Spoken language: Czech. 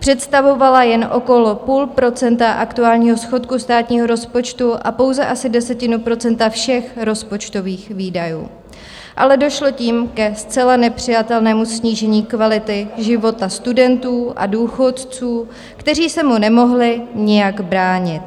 Představovala jen okolo půl procenta aktuálního schodku státního rozpočtu a pouze asi desetinu procenta všech rozpočtových výdajů, ale došlo tím ke zcela nepřijatelnému snížení kvality života studentů a důchodců, kteří se mu nemohli nijak bránit.